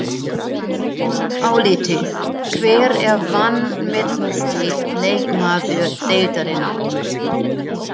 Álitið: Hver er vanmetnasti leikmaður deildarinnar?